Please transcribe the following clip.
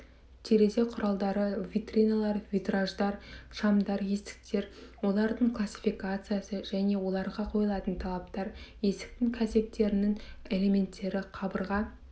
терезе құралдары витриналар витраждар шамдар есіктер олардың классификациясы және оларға қойылатын талаптар есіктің кәсектерінің элементтері қабырға